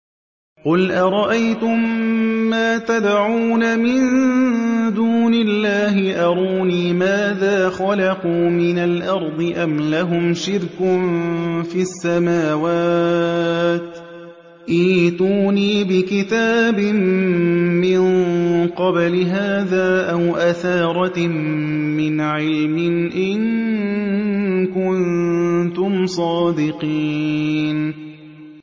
قُلْ أَرَأَيْتُم مَّا تَدْعُونَ مِن دُونِ اللَّهِ أَرُونِي مَاذَا خَلَقُوا مِنَ الْأَرْضِ أَمْ لَهُمْ شِرْكٌ فِي السَّمَاوَاتِ ۖ ائْتُونِي بِكِتَابٍ مِّن قَبْلِ هَٰذَا أَوْ أَثَارَةٍ مِّنْ عِلْمٍ إِن كُنتُمْ صَادِقِينَ